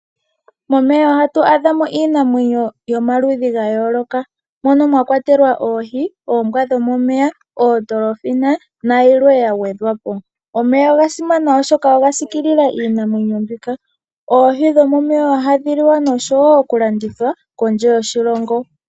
Momeya ohtu adhamo iinamwenyo yomaludhi ga yooloka mono mwa kwatelwa oohi, oombwa dhomomeya, oodolphina nayimwe ya gwedhapo. Omeya oga simana oshoka oga sikilila iinamwenyo mbika. Oohi dhomomeya ohadhi liwa noku landithwa kondje yoshilongo.